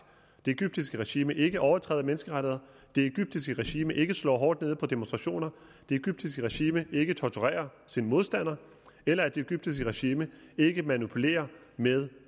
at det egyptiske regime ikke overtræder menneskerettigheder det egyptiske regime ikke slår hårdt ned på demonstrationer at det egyptiske regime ikke torturerer sine modstandere eller at det egyptiske regime ikke manipulerer med